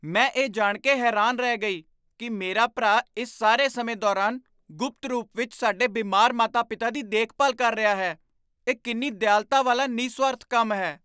ਮੈਂ ਇਹ ਜਾਣ ਕੇ ਹੈਰਾਨ ਰਹਿ ਗਈ ਕੀ ਮੇਰਾ ਭਰਾ ਇਸ ਸਾਰੇ ਸਮੇਂ ਦੌਰਾਨ ਗੁਪਤ ਰੂਪ ਵਿੱਚ ਸਾਡੇ ਬਿਮਾਰ ਮਾਤਾ ਪਿਤਾ ਦੀ ਦੇਖਭਾਲ ਕਰ ਰਿਹਾ ਹੈ ਇਹ ਕਿੰਨੀ ਦਿਆਲਤਾ ਵਾਲਾ ਨਿਸਵਾਰਥ ਕੰਮ ਹੈ